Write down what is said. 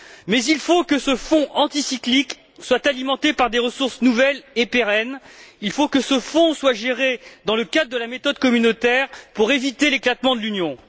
Mais il faut que ce fonds anti cyclique soit alimenté par des ressources nouvelles et pérennes, il faut que ce fonds soit géré dans le cadre de la méthode communautaire pour éviter l'éclatement de l'Union.